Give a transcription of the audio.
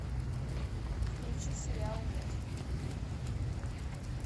включи сериал мост